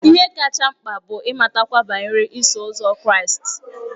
Ihe kacha mkpa bụ ịmatakwu banyere Iso Ụzọ Kraịst.